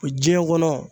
O diɲɛ kɔnɔ